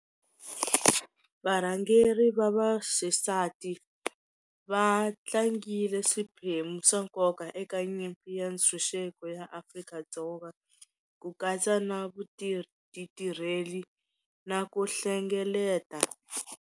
Varhangeri va va xisati va tlangile swiphemu swa nkoka eka nyimpi ya ntshunxeko ya Afrika-Dzonga ku katsa na ti tirheli na ku hlengeleta.